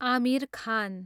Aamir Khan